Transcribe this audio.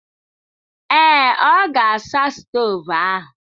Ee. ọ ga-asa stovu ahụ.